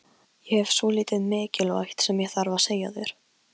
Það var augljóst að Geir forðaðist hann.